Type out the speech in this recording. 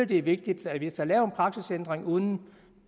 det er vigtigt at hvis der er lavet en praktisændring uden